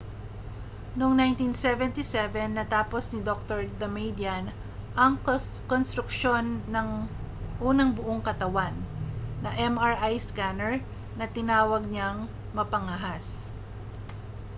noong 1977 natapos ni dr damadian ang konstruksyon ng unang buong-katawan na mri scanner na tinawag niyang mapangahas